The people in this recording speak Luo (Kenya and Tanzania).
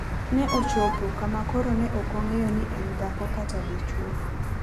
Ne ochopo kama koro ne ok ong'eyo ni en dhako kata dichwo.